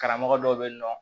Karamɔgɔ dɔw bɛ yen nɔ